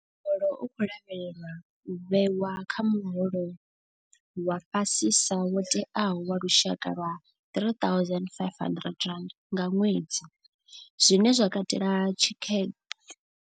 Muholo u khou lavhelelwa u vhewa kha muholo wa fhasisa wo tewaho wa lushaka wa R3 500 nga ṅwedzi, zwine zwa katela thikhe.